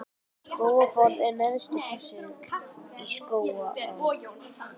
Skógafoss er neðsti fossinn í Skógaá.